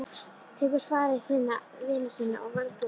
Tekur svari vina sinna og velgjörðamanna.